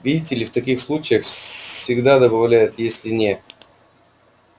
видите ли в таких случаях всегда добавляют если не